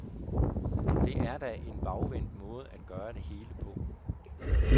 Det er da en bagvendt måde at gøre det hele på.